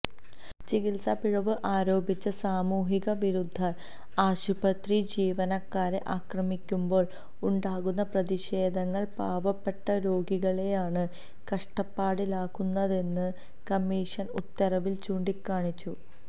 ചികിത്സപിഴവ് ആരോപിച്ച് സാമൂഹികവിരുദ്ധർ ആശുപത്രി ജീവനക്കാരെ ആക്രമിക്കുമ്പോൾ ഉണ്ടാകുന്ന പ്രതിഷേധങ്ങൾ പാവപ്പെട്ട രോഗികളെയാണ് കഷ്ടപ്പാടിലാക്കുന്നതെന്ന് കമീഷൻ ഉത്തരവിൽ ചൂണ്ടിക്കാണിച്ചു